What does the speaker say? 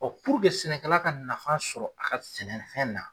puruke sɛnɛkɛla ka nafa sɔrɔ a ka sɛnɛnɛ fɛn na.